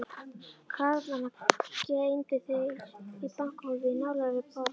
Karlana geymdu þær í bankahólfi í nálægri borg.